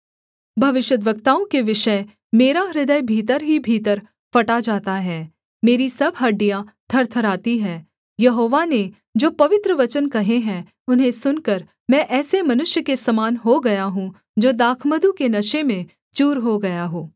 भविष्यद्वक्ताओं के विषय मेरा हृदय भीतर ही भीतर फटा जाता है मेरी सब हड्डियाँ थरथराती है यहोवा ने जो पवित्र वचन कहे हैं उन्हें सुनकर मैं ऐसे मनुष्य के समान हो गया हूँ जो दाखमधु के नशे में चूर हो गया हो